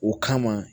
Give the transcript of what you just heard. O kama